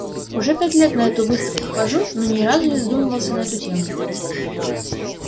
уже пять лет на эту выставку хожу но ни разу не задумывался на эту тему